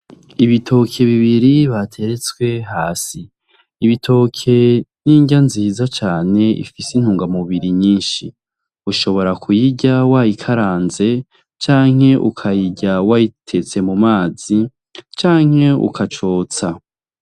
Ibitoki bibiri bateretswe hasi , ibitoke n'indya nziza cane ifise intungamubiri nyinshi ushobora kuyirya wayikaranze canke ukayirya wayiteste mu mazi canke ukacosta.